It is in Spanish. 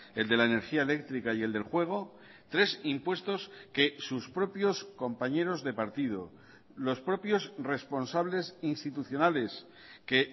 el de la energía eléctrica y el del juego tres impuestos que sus propios compañeros de partido los propios responsables institucionales que